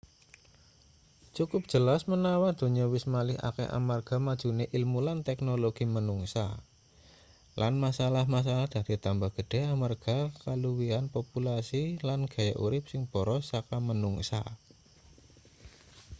cukup jelas menawa donya wis malih akeh amarga majune ilmu lan teknologi manungsa lan masalah-masalah dadi tambah gedhe amarga kaluwihan populasi lan gaya urip sing boros saka manungsa